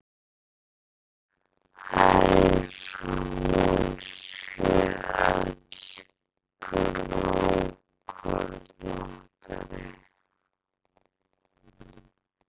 Það er eins og hún sé öll grófkornóttari.